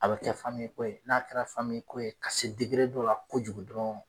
A bɛ kɛ ko ye n'a kɛra ko ye ka se dɔ la kojugu dɔrɔn